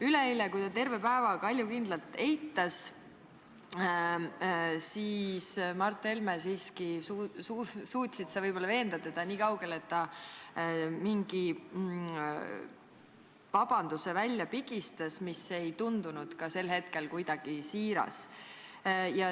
Üleeile, kui Mart Helme seda terve päeva kaljukindlalt eitas, suutsid sa siiski võib-olla veenda teda nii palju, et ta mingi vabanduse välja pigistas, mis ei tundunud ka sel hetkel kuidagi siiras.